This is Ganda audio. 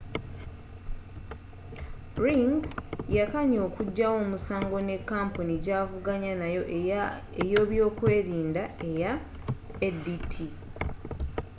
ring yakkanya okujjawo omusango ne kampuni gyavuganya nayo eya eby'okwerinda eya adt